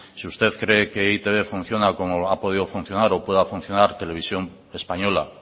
si usted cree que e i te be funciona como ha podido funcionar o pueda funcionar televisión española